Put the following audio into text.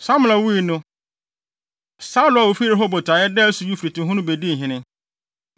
Samla wui no, Saulo a ofi Rehobot a ɛda asu Eufrate ho no bedii hene.